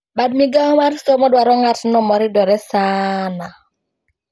Bad migao mar somo dwaro ng`atno moridore saana